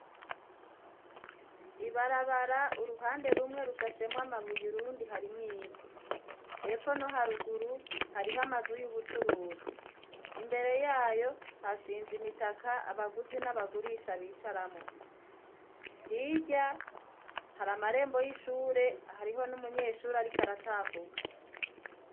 Ibarabara uruhande rumwe rushashemwa amabuye urundi harimw'ivu hepfo no haruguru harih'amazu y'ubucuruzi, imbere yayo hashinze imitaka abaguzi n'abagurisha bicaramwo, hirya har'amarembo y'ishure hariho n'umunyeshuri ariko aratambuka.